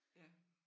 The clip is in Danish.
Ja